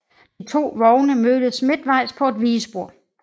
De to vogne mødes midtvejs på et vigespor